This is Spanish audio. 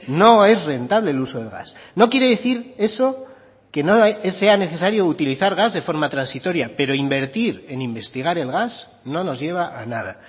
no es rentable el uso de gas no quiere decir eso que no sea necesario utilizar gas de forma transitoria pero invertir en investigar el gas no nos lleva a nada